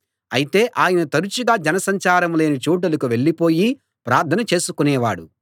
అయితే ఆయన తరచుగా జన సంచారం లేని చోటులకు వెళ్ళిపోయి ప్రార్థన చేసుకునేవాడు